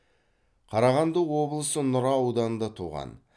қарағанды облысы нұра ауданында туған